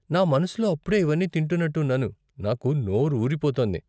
నా మనసులో అప్పుడే ఇవన్నీ తింటున్నట్టు ఉన్నాను, నాకు నోరు ఊరిపోతోంది.